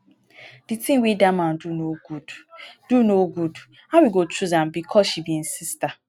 the thing wey dat man do no good. do no good. how e go choose am just because she be im sister